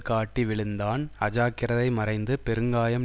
காட்டி விழுந்தான் அஜாக்கிரதை மறைந்து பெருங்காயம்